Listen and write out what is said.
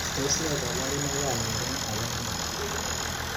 Tos ne kaburunoik ab mnyendo age nenaat?